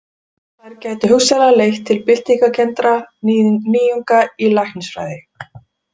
Þær gætu hugsanlega leitt til byltingarkenndra nýjunga í læknisfræði.